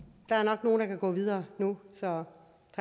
nok nogle der kan gå videre nu så